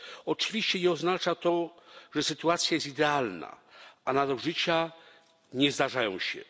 Oczywiście nie oznacza to, że sytuacja jest idealna, a nadużycia nie zdarzają się.